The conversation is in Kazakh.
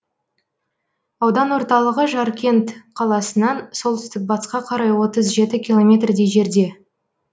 аудан орталығы жаркент қаласынан солтүстік батысқа қарай отыз жеті километрдей жерде